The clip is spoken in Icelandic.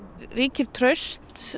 ríkir traust